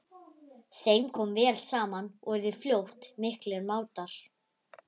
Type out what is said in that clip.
Þeim kom vel saman og urðu fljótt miklir mátar.